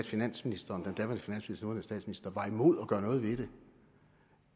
finansminister og nuværende statsminister var imod at gøre noget ved det